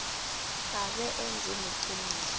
abe enze neqiniso